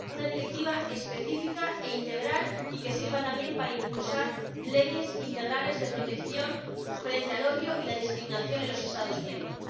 Una directiva específica e integral y que sirva también para impulsar leyes integrales de protección frente al odio y la discriminación en los Estados miembros.